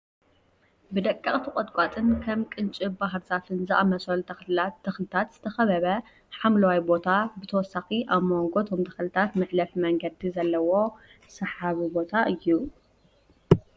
ብደቀቅቲ ቆጥቋጥን ከም ቅንጭብ፣ ባህርዛፍን ዝኣመሰሉ ተኽልታትን ዝተኸበበ ሓምለዋይ ቦታ ብተወሳኺ ኣብ መንጎ እቶም ተኽልታት መሕለፊ መንገዲ ዘለዎ ሰሓቢ ቦታ እዩ።